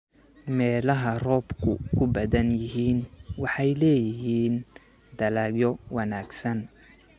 Meelaha roobabku ku badan yihiin waxay leeyihiin dalagyo wanaagsan.